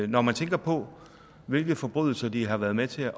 når man tænker på hvilke forbrydelser de har været med til